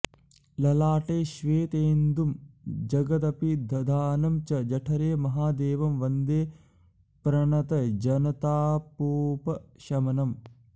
ललाटे श्वेतेन्दुं जगदपि दधानं च जठरे महादेवं वन्दे प्रणतजनतापोपशमनम्